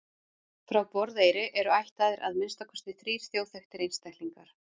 frá borðeyri eru ættaðir að minnsta kosti þrír þjóðþekktir einstaklingar